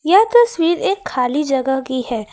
यह तस्वीर एक खाली जगह की है।